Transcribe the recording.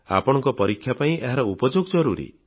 ଆପଣଙ୍କ ପରୀକ୍ଷା ପାଇଁ ଏହାର ଉପଯୋଗ ଜରୁରୀ